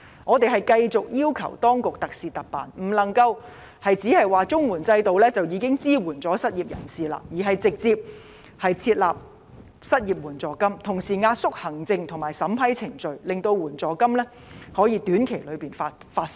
我們繼續要求當局特事特辦，不能夠只是說綜合社會保障援助制度已經可以支援失業人士，而是直接設立失業援助金，同時壓縮行政和審批程序，令援助金可以短期內發放。